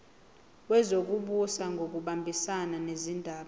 wezokubusa ngokubambisana nezindaba